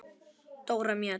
Dóra Mjöll.